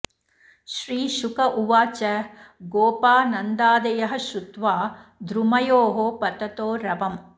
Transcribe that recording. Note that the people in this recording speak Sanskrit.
श्रीशुक उवाच गोपा नन्दादयः श्रुत्वा द्रुमयोः पततो रवम्